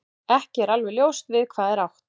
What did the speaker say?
Ekki er alveg ljóst við hvað er átt.